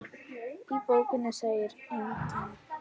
Í bókinni segir einnig